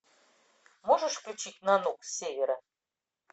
можешь включить нанук с севера